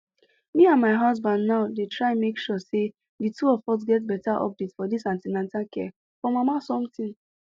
me and my husband now dey try make sure say the two of us get better update for this an ten atal care for mama something